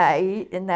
Aí na...